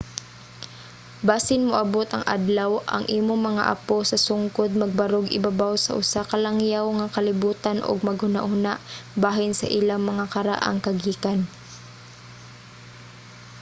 basin moabot ang adlaw ang imong mga apo sa sungkod magbarog ibabaw sa usa ka langyaw nga kalibutan ug maghunahuna bahin sa ilang mga karaang kagikan?